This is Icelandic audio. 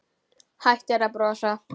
Hættir að brosa.